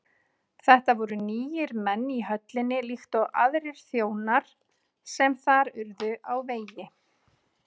Þetta voru nýir menn í höllinni líkt og aðrir þjónar sem þar urðu á vegi